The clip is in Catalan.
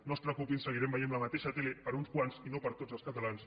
no es preocupin seguirem veient la mateixa tele per a uns quants i no per a tots els catalans